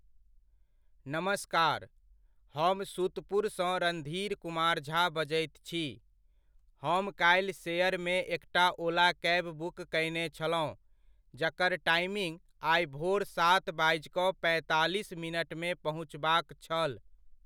नमस्कार, हम सुतपुरसँ रणधीर कुमार झा बजैत छी। हम काल्हि शेयरमे एकटा ओला कैब बुक कयने छलहुँ जकर टाइमिङ्ग आइ भोर सात बाजि कऽ पैंतालिस मिनटमे पहुँचबाक छल।